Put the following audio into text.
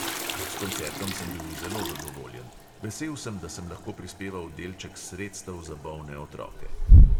S koncertom sem bil zelo zadovoljen; vesel sem, da sem lahko prispeval delček sredstev za bolne otroke.